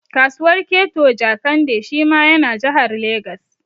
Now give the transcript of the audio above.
Kasuwar Keto Jekande shi ma ya na Jahar Legas